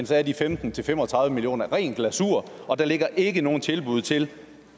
så er de femten til fem og tredive million kroner ren glasur og der ligger ikke nogen tilbud til